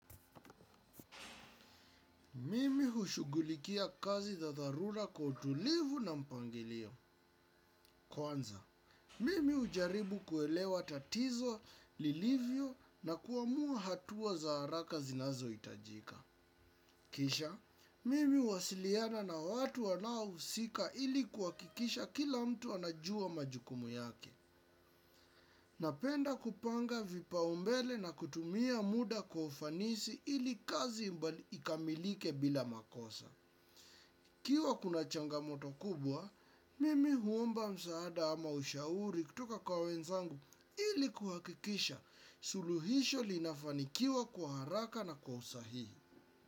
Mimi hushughulikia kazi za dharura kwa utulivu na mpangilio. Kwanza, mimi hujaribu kuelewa tatizo lilivyo na kuamua hatua za haraka zinazohitajika. Kisha, mimi huwasiliana na watu wanaohusika ili kuhakikisha kila mtu anajua majukumu yake. Napenda kupanga vipaumbele na kutumia muda kwa ufanisi ili kazi mbali ikamilike bila makosa. Ikiwa kuna changamoto kubwa, mimi huomba msaada ama ushauri kutoka kwa wenzangu ili kuhakikisha suluhisho linafanikiwa kwa haraka na kwa usahihi.